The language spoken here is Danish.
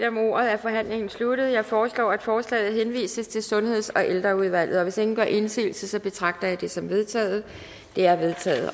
om ordet er forhandlingen sluttet jeg foreslår at forslaget henvises til sundheds og ældreudvalget hvis ingen gør indsigelse betragter jeg det som vedtaget det er vedtaget